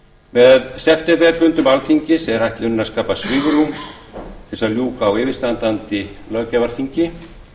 með septemberfundum alþingis er ætlunin að skapa svigrúm til að ljúka á yfirstandandi löggjafarþingi